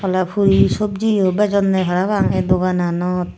awle puri sabji yot bejonne para pang ey dogananot.